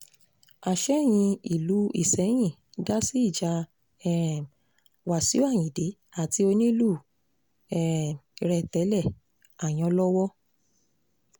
àsẹ̀yìn ìlú isẹ́yìn dá sí ìjà um wáṣíù ayíǹde àti onílù um rẹ̀ tẹ́lẹ̀ ayànlọ́wọ́